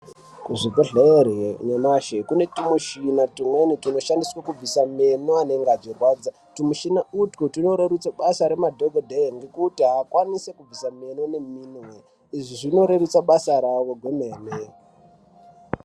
Kuzvibhedhlere nyamashi kune twumishina twumweni twunoshandiswe kubvisa meno anenge achirwadza. Twumishina utwu twunorerutse basa remadhokodheye ngekuti aakwanisi kubviswa meno neminwe. Izvi zvinorerutsa basa ravo kwemene.